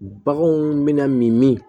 Baganw bɛna min min